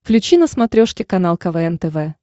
включи на смотрешке канал квн тв